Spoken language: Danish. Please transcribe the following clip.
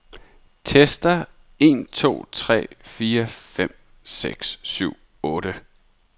Tester en to tre fire fem seks syv otte.